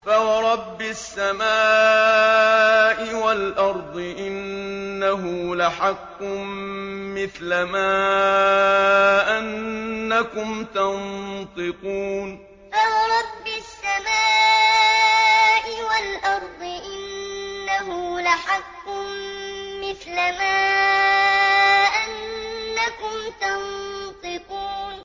فَوَرَبِّ السَّمَاءِ وَالْأَرْضِ إِنَّهُ لَحَقٌّ مِّثْلَ مَا أَنَّكُمْ تَنطِقُونَ فَوَرَبِّ السَّمَاءِ وَالْأَرْضِ إِنَّهُ لَحَقٌّ مِّثْلَ مَا أَنَّكُمْ تَنطِقُونَ